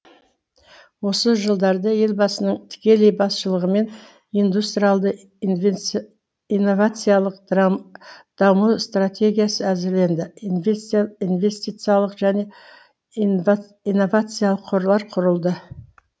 осы жылдарда елбасының тікелей басшылығымен индустриалды инновациялық даму стратегиясы әзірленді инвестициялық және инновациялық қорлар құрылды